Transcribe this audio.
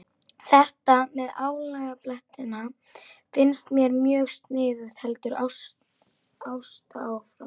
Þetta með álagablettina finnst mér mjög sniðugt, heldur Ásta áfram.